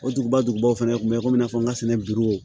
O duguba dugubaw fana tun bɛ komi i n'a fɔ n ka sɛnɛ